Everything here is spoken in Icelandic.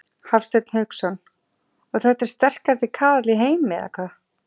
Hafsteinn Hauksson: Og þetta er sterkasti kaðall í heimi eða hvað?